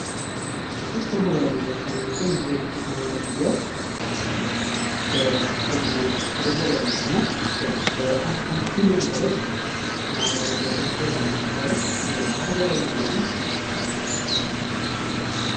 ቲክ ቶክ ከማህበራዊ ሚዲያ ዉስጥ አንደኛው ሲሆን ይህ የ ቲክ ቶክ የማህበራዊ ሚዲያ በቅርቡ ወደ ግበያ የመጣና ከአንድ ቢልየን በላይ ማህበራዊ ሚዲያ ተከታይ ማገኘት የቻለ የማህበራዊ ሚዲያ ነው ::